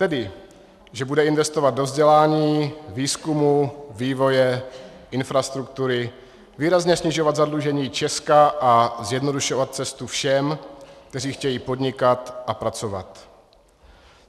Tedy že bude investovat do vzdělání, výzkumu, vývoje, infrastruktury, výrazně snižovat zadlužení Česka a zjednodušovat cestu všem, kteří chtějí podnikat a pracovat.